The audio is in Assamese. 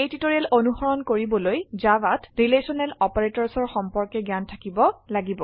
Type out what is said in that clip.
এই টিউটোৰিয়েল অনুসৰণ কৰিবলৈ ৰিলেশ্যনেল অপাৰেটৰ্ছ ইন Javaৰ সম্পৰ্কে জ্ঞান থাকিব লাগিব